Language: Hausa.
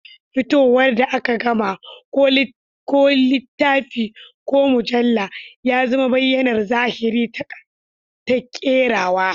Fitowar da aka gama, ko littafi ko mujalla, ya zama bayyanar zahiri ta kerawa.